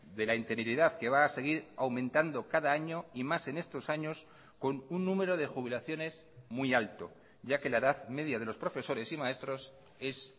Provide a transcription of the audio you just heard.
de la interinidad que va a seguir aumentando cada año y más en estos años con un número de jubilaciones muy alto ya que la edad media de los profesores y maestros es